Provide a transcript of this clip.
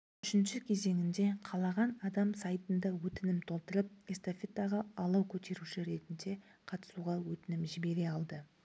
үшінші кезеңінде қалаған адам сайтында өтінім толтырып эстафетаға алау көтеруші ретінде қатысуға өтінім жібере алды